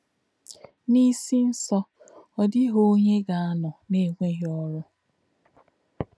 N’ísí̄ nsọ̀, ọ́ dì̄ghí̄ ọ̀nyé̄ gā̄-ànọ̄ n’ènwè̄ghí̄ ọ́rụ́.